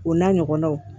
O n'a ɲɔgɔnnaw